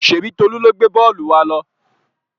Ṣèbí Tolú ló gbé bọ́ọ́lù wa lọ?